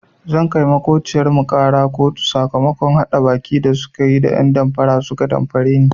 Zan kai maƙociyar mu ƙara kotu sakamakon haɗa baki da tayi da ɗan damfara suka damfare ni.